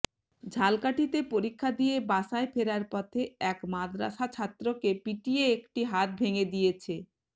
ঝালকাঠিতে পরীক্ষা দিয়ে বাসায় ফেরার পথে এক মাদ্রাসা ছাত্রকে পিটিয়ে একটি হাত ভেঙ্গে দিয়েছে